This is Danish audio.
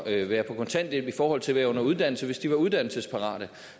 at være på kontanthjælp i forhold til at være under uddannelse hvis de var uddannelsesparate